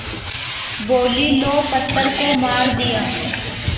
बोलीं लो पत्थर को मार दिया